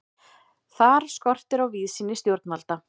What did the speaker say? Þar skortir á víðsýni stjórnvalda.